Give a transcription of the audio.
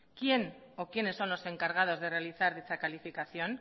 quién o quiénes son los encargados de realizar dicha calificación